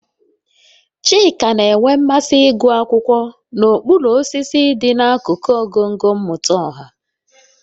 Chika na-enwe mmasị ịgụ akwụkwọ n'okpuru osisi dị n'akụkụ ngọngọ mmụta ọha